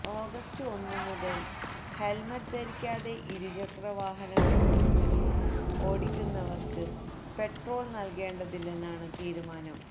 August ഒന്നുമുതല് helmet ധരിക്കാതെ ഇരുചക്രം ഓടിക്കുന്നവര്ക്ക് പെട്രോള് നല്കേണ്ടതില്ലെന്നാണ് തീരുമാനം